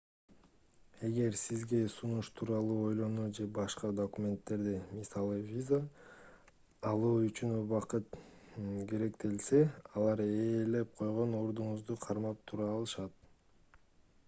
эгер сизге сунуш тууралуу ойлонуу же башка документтерди мисалы виза алуу үчүн убакыт керектелсе алар ээлеп койгон ордуңузду кармап тура алышат